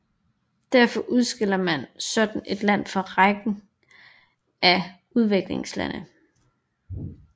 Derfor udskiller man sådan et land fra rækken af udviklingslande